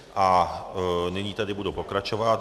A nyní tedy budu pokračovat.